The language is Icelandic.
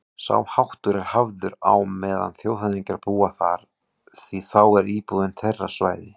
Sá háttur er hafður á meðan þjóðhöfðingjar búa þar, því þá er íbúðin þeirra svæði